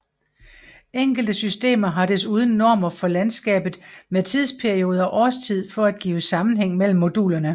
Enkelte systemer har desuden normer for landskabet med tidsperiode og årstid for at give sammenhæng mellem modulerne